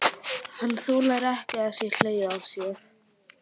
Hann þolir ekki að það sé hlegið að sér.